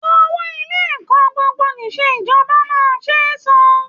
Owó Ilé ẹ̀kọ́ gbogbo-nìṣe ìjọba máa ń ṣe é san